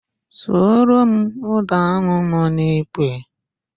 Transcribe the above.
Suoro m ụ́dà ahụ nọ n'ikwe!